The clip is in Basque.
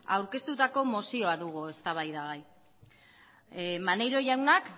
aurkeztutako mozioa dugu eztabaidagai maneiro jaunak